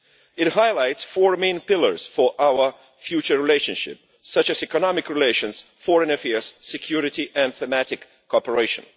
It highlights four main pillars for our future relationship, such as economic relations, foreign affairs, security and thematic cooperation.